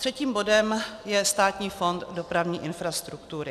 Třetím bodem je Státní fond dopravní infrastruktury.